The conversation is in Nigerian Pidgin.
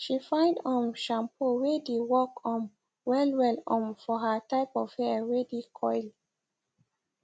she find um shampoo wae dae work um wellwell um for her type of hair wae dae curl